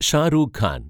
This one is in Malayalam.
ഷാരൂഖ് ഖാൻ